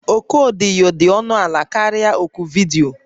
Oku odiyo dị ọnụ ala karịa nke oku vidiyo